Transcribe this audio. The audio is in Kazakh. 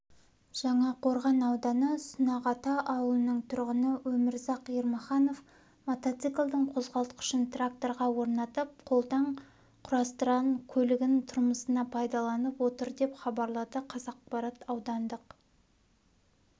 жаңақорған ауданы сунақата ауылының тұрғыны өмірзақ ермаханов мотоциклдің қозғалтқышын тракторға орнатып қолдан құрастырған көлігін тұрмысына пайдаланып отыр деп хабарлады қазақпарат аудандық